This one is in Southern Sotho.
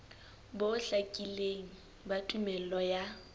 bo hlakileng ba tumello ya